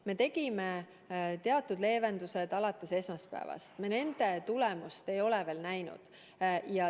Me tegime teatud leevendused alates esmaspäevast ja nende tulemust me ei ole veel näinud.